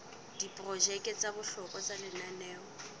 diprojeke tsa bohlokwa tsa lenaneo